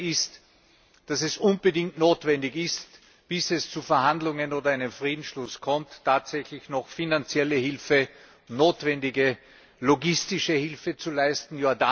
Das Zweite ist, dass es unbedingt notwendig ist, bis es zu Verhandlungen oder einem Friedensschluss kommt, tatsächlich noch finanzielle Hilfe, notwendige logistische Hilfe zu leisten.